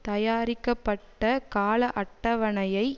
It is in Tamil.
தயாரிக்கப்பட்ட கால அட்டவணையை